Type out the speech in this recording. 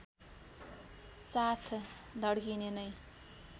साथ धड्किने नै